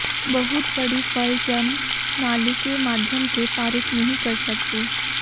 बहुत बड़ी फल जन्म नाली के माध्यम से पारित नहीं कर सकते